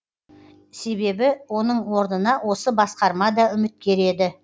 себебі оның орнына осы басқарма да үміткер еді